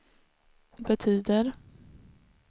betyder